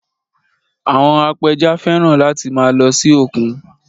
Àwọn apẹja fẹ́ràn láti máa lọ sí òkun